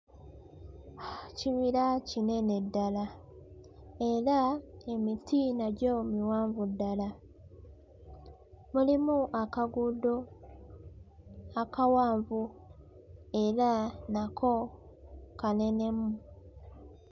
Ekibira kinene ddala era emiti nagyo miwanvu ddala. Mulimu akaguudo akawanvu era nako kanenemu.